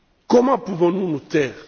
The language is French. Comment pouvons nous nous taire?